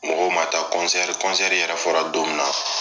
Mɔgɔw ma taa , yɛrɛ fɔra don min na